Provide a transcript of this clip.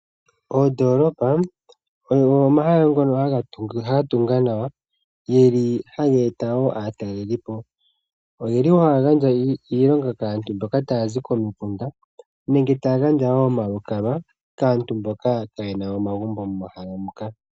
Oodolopa odho omahala ngoka ga tungwa nawa. Omahala ngaka ohaga eta aataleli po. Ohaya gandja iilonga kaantu mboka taya zikomikunda nenge oku gandja omalukalwa, kaantu mboka kaye na omagumbo momahala moka.